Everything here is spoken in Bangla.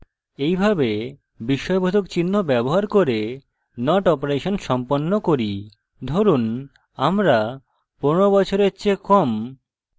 এইভাবে বিস্ময়বোধক চিহ্ন ব্যবহার করে not অপারেশন সম্পন্ন করি ধরুন আমরা 15 বছরের চেয়ে কম